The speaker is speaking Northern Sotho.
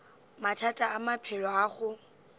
mathata a maphelo a go